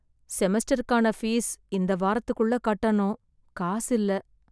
செமஸ்டருக்கான fees இந்த வாரத்துக்குள்ள கட்டணும். காசு இல்ல.